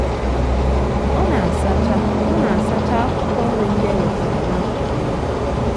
ọ na-asacha ọ na-asacha akwụkwọ nri ndị e wetara nakụkụ iyi. um